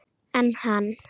En hann?